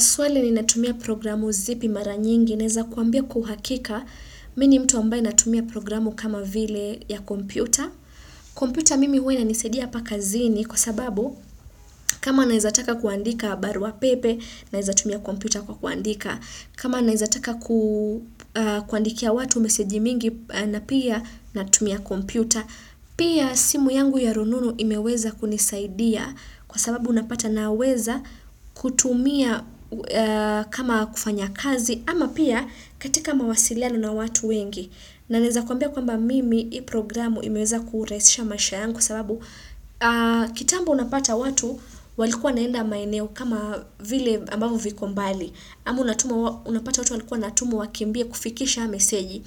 Swali ni natumia programu zipi mara nyingi naeza kuambia kwa uhakika mimi ni mtu ambaye natumia programu kama vile ya kompyuta. Kompyuta mimi huwa inanisaidia hapa kazini kwa sababu kama naeza taka kuandika barua pepe naeza tumia kompyuta kwa kuandika. Kama naeza taka kuandikia watu meseji mingi na pia natumia kompyuta. Pia simu yangu ya rununu imeweza kunisaidia kwa sababu unapata naweza kutumia kama kufanya kazi ama pia katika mawasiliano na watu wengi na naeza kuambia kwamba mimi hii programu imeweza kurahisisha maisha yangu kwa sababu kitambo unapata watu walikuwa wanaenda maeneo kama vile ambavyo viko mbali. Ama unapata watu walikuwa walikuwa wanatumwa wakimbie kufikisha meseji